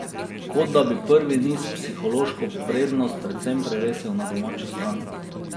Kot da bi prvi niz psihološko prednost povsem prevesil na domačo stran.